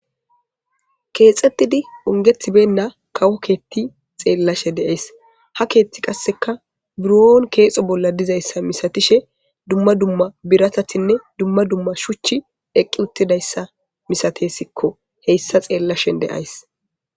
keexxettidi ongethibenna kawo keeti xeellashe de7ays ha keethti qasseka buron keexo bolla dizayssa misatishe dumma dumma biratatinne dumma dumma shuchch eqqi uttidayssa misatesikko heyssa xeellashen de'ayis.